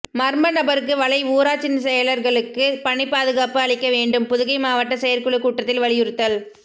மர்ம நபருக்கு வலை ஊராட்சி செயலர்களுக்கு பணி பாதுகாப்பு அளிக்க வேண்டும் புதுகை மாவட்ட செயற்குழு கூட்டத்தில் வலியுறுத்தல்